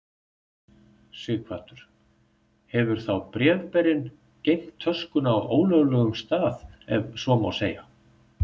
Sighvatur: Hefur þá bréfberinn geymt töskuna á ólöglegum stað ef svo má segja?